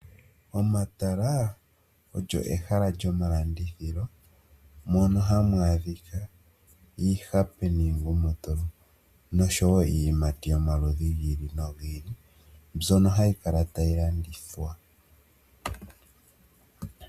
Omatala olyo ehala lyomalandithilo mono hamu adhika iihape niingumutulu, nosho wo iiyimati yomaludhi gi ili nogi ili, mbyono hayi kala tayi landithwa.